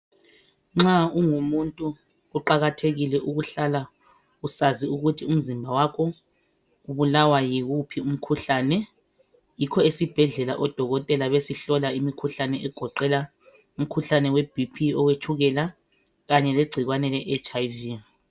Nxa ungumuntu kuqakathekile ukuhlala usazi ukuthi umzimba wakho ubulawa yiwuphi umkhuhlane yikho esibhedlela odokotela besihlola imikhuhlane egoqela umkhuhlane webp owetshukela kanye lengcikwane leHIV.